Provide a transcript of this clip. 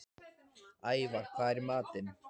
Ævarr, hvað er í matinn?